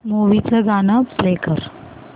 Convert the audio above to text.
movie चं गाणं play कर